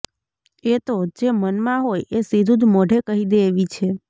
એ તો જે મનમાં હોય એ સીધું જ મોંઢે કહી દે એવી છે